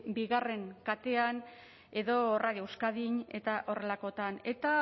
bi katean edo radio euskadin eta horrelakoetan eta